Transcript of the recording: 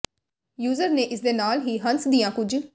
user ਨੇ ਇਸ ਦੇ ਨਾਲ ਹੀ ਹੰਸ ਦੀਆਂ ਕੁੱਝ